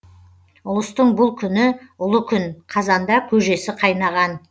ұлыстың бұл күні ұлы күн қазанда көжесі қайнаған